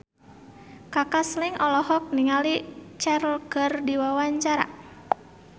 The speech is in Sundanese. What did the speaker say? Kaka Slank olohok ningali Cher keur diwawancara